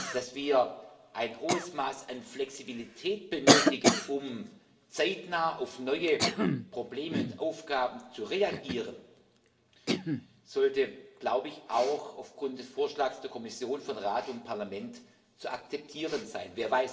Dass wir ein hohes Maß an Flexibilität benötigen, um zeitnah auf neue Probleme und Aufgaben zu reagieren, sollte, glaube ich, auch aufgrund des Vorschlags der Kommission von Rat und Parlament zu akzeptieren sein.